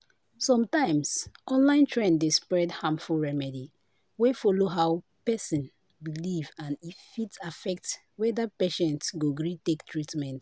sometimes online trend dey spread harmful remedy wey follow how person believe and e fit affect whether patient go gree take treatment